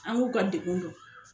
An k'u ka degun dɔn.